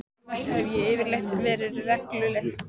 Annars hef ég yfirleitt verið regluleg.